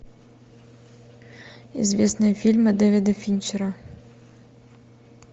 известные фильмы дэвида финчера